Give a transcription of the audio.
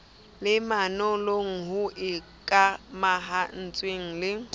le manollong ho ikamahantswe le